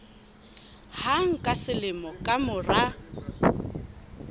hang ka selemo ka mora